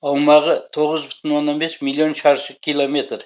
аумағы тоғыз бүтін оннан бес миллион шаршы километр